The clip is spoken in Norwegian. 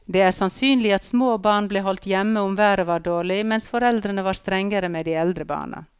Det er sannsynlig at små barn ble holdt hjemme om været var dårlig, mens foreldrene var strengere med de eldre barna.